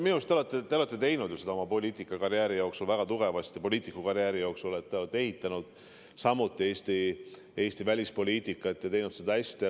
Minu arust te olete ju teinud seda oma poliitikukarjääri jooksul, olete väga tugevasti ehitanud Eesti välispoliitikat ja teinud seda hästi.